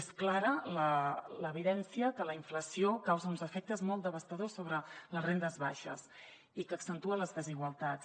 és clara l’evidència que la inflació causa uns efectes molt devastadors sobre les rendes baixes i que accentua les desigualtats